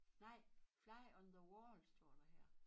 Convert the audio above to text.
Nej fly on the wall står der her